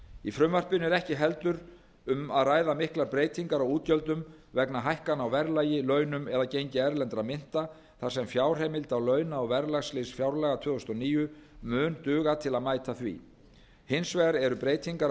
í frumvarpinu er ekki heldur um að ræða miklar breytingar á útgjöldum vegna hækkana á verðlagi launum eða gengi erlendra mynta þar sem fjárheimild á launa og verðlagslið fjárlaga tvö þúsund og níu mun duga til að mæta því hins vegar eru breytingar af